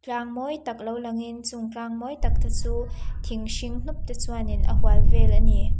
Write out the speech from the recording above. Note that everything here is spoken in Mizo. tlang mawi tak lo langin chung tlang mawi tak te chu thing hring hnup te chuanin a hual vel ani.